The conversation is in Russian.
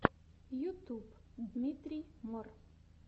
ютюб дмитрий мор